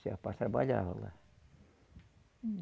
Esse rapaz trabalhava lá.